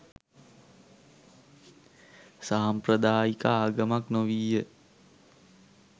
සාම්ප්‍රදායික ආගමක් නොවීය.